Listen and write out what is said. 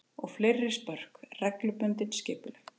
Og fleiri spörk, reglubundin, skipuleg.